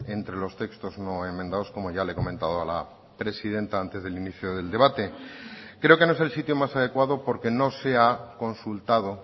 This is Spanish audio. entre los textos no enmendados como ya le he comentado a la presidenta antes del inicio del debate creo que no es el sitio más adecuado porque no se ha consultado